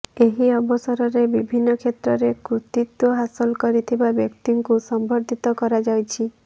ଏହି ଅବସରରେ ବିଭିନ୍ନ କ୍ଷେତ୍ରରେ କୃତିତ୍ବ ହାସଲ କରିଥିବା ବ୍ୟକ୍ତିଙ୍କୁ ସମ୍ବର୍ଦ୍ଧିତ କରାଯାଇଛି